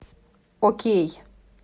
окей